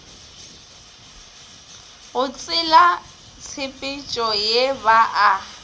go tselatshepetšo ye ba a